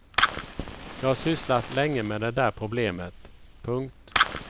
Jag har sysslat länge med det där problemet. punkt